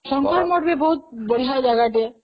ଶଙ୍କର ମଠ ବହୁତ ବଢିଆ ଜାଗାଟେ